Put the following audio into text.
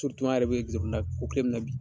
an yɛrɛ be zamna ko tile min na bi.